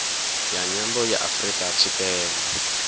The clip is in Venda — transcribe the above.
ya nyambo ya afrika tshipembe